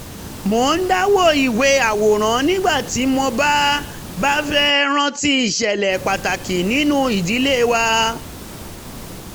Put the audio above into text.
mo ń dá wo ìwé àwòrán nígbà tí mo bá bá fẹ́ rántí ìṣẹ̀lẹ̀ pàtàkì nínú ìdílé wa